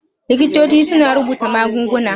Likitoci suna rubuta magunguna.